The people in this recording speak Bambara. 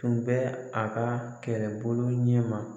Tun bɛ a ka kɛlɛbolo ɲɛma